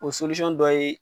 O dɔ ye.